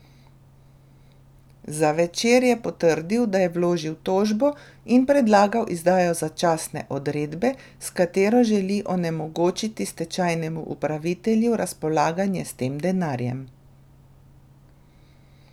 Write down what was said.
Za Večer je potrdil, da je vložil tožbo in predlagal izdajo začasne odredbe, s katero želi onemogočiti stečajnemu upravitelju razpolaganje s tem denarjem.